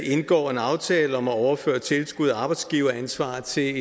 indgår en aftale om at overføre tilskud af arbejdsgiveransvar til en